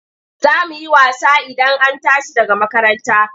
Za mu yi wasa Idan an tashi daga makaranta.